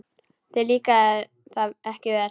Þér líkaði það ekki vel.